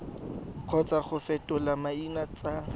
kgotsa go fetola maina tsa